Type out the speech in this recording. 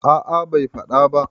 a a Bai faɗa ba